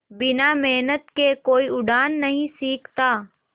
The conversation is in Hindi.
बिना मेहनत के कोई उड़ना नहीं सीखता